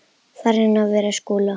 Farinn að verja Skúla!